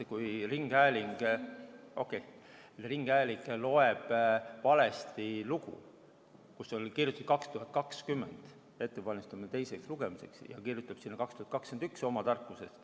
Kui ringhäälingus loeti valesti lugu, kus oli kirjutatud, et käib 2020. aasta lisaeelarve ettevalmistamine teiseks lugemiseks, ja kirjutati sinna oma tarkusest 2021.